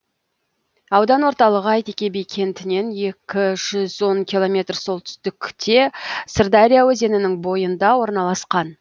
аудан орталығы әйтеке би кентінен екі жүз он километр солтүстікте сырдария өзенінің бойында орналасқан